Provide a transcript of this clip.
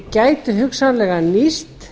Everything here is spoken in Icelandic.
gætu hugsanlega nýst